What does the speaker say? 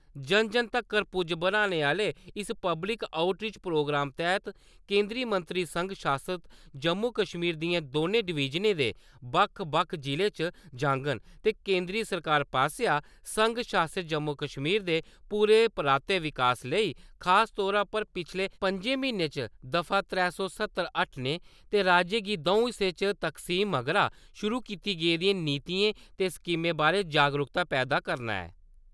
जन जन तक्कर पुज्जने आह्ले इस पब्लिक आउटरीच प्रोग्राम तैह्त केंदरी मंत्री संघ शासत जम्मू कश्मीर दियें दौनें डवीजनें दे बक्ख बक्ख जि'लें च जाङन ते केंदरी सरकार पासेआ संघ शासत जम्मू कश्मीर दे पूरे प्रांतें दे विकास लेई खास तौर पर पिच्छले पंजें म्हीनें च दफा त्रै सौ सत्तर हटाने ते राज्य गी द'ऊं हिस्सें च तकसीम मगरा शुरू कीती गेदियें नीतियें ते स्कीमें बारे जागरूकता पैदा करना ऐ।